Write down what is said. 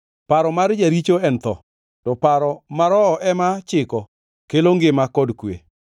Paro mar jaricho en tho, to paro ma Roho ema chiko kelo ngima kod kwe.